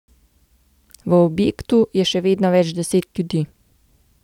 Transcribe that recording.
V objektu je še vedno več deset ljudi.